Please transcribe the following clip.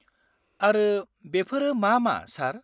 -आरो बेफोरो मा मा, सार?